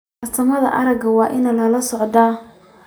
Fiirsanaanta aragga waa in lala socdo.